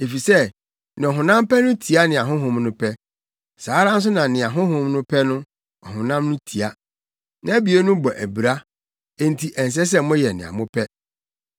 Efisɛ nea ɔhonam pɛ no tia nea Honhom no pɛ; saa ara nso na nea Honhom no pɛ no, ɔhonam no tia. Nʼabien no bɔ abira, enti ɛnsɛ sɛ moyɛ nea mopɛ.